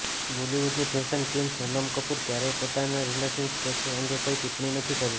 બોલિવૂડની fashion queen Sonam Kapoor ે ક્યારેય પોતાના રિલેશનશિપ સ્ટેટસ અંગે કોઇ ટિપ્પણી નથી કરી